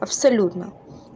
абсолютно